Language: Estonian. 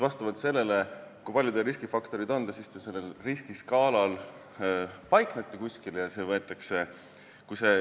Vastavalt sellele, kui palju teil riskifaktoreid on, te sellel riskiskaalal paiknete.